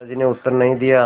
दादाजी ने उत्तर नहीं दिया